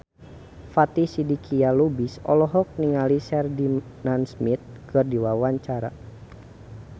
Fatin Shidqia Lubis olohok ningali Sheridan Smith keur diwawancara